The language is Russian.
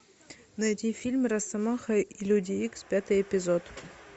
найди фильм росомаха и люди икс пятый эпизод